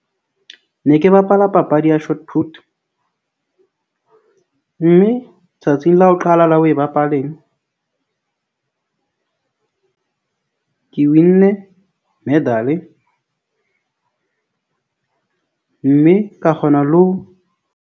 Ne ke bapala papadi ya mme tsatsing la ho qala la ho e bapaleng , ke win-ne medal-e. Mme ka kgona le ho.